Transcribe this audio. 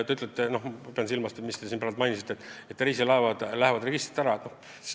Ma pean silmas seda, mis te siin praegu ütlesite, et reisilaevad lähevad registrist ära.